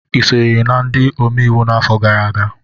Ị sonyere ndị omeiwu n'afọ gara aga?